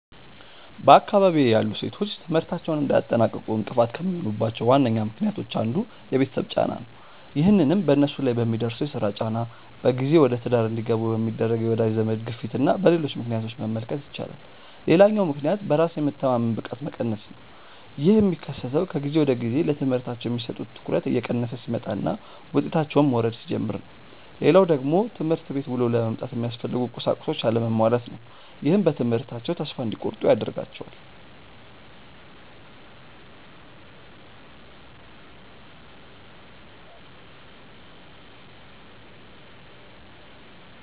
በአካባቢዬ ያሉ ሴቶች ትምህርታቸውን እንዳያጠናቅቁ እንቅፋት ከሚሆኑባቸው ዋነኛ ምክንያቶች አንዱ የቤተሰብ ጫና ነው። ይህንንም በነሱ ላይ በሚደርሰው የስራ ጫና፣ በጊዜ ወደትዳር እንዲገቡ በሚደረግ የወዳጅ ዘመድ ግፊትና በሌሎች ምክንያቶች መመልከት ይቻላል። ሌላኛው ምክንያት በራስ የመተማመን ብቃት መቀነስ ነው። ይህ የሚከሰተው ከጊዜ ወደጊዜ ለትምህርታቸው የሚሰጡት ትኩረት እየቀነሰ ሲመጣና ውጤታቸውም መውረድ ሲጀምር ነው። ሌላው ደግሞ ትምህርት ቤት ውሎ ለመምጣት የሚያስፈልጉ ቁሳቁሶች አለመሟላት ነው። ይህም በትምህርታቸው ተስፋ እንዲቆርጡ ያደርጋቸዋል።